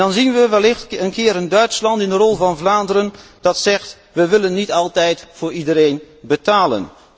Dan zien we wellicht Duitsland in de rol van Vlaanderen dat zegt wij willen niet altijd voor iedereen betalen.